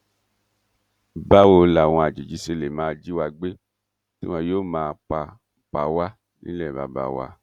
báwo làwọn àjèjì ṣe lè máa jí wa gbé tí wọn yóò máa pa pa wá nílé bàbá wa